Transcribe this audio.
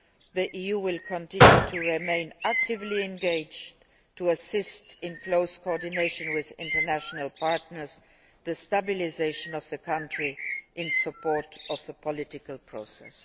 The EU will continue to remain actively engaged to assist in close coordination with international partners and the stabilisation of the country in support of the political process.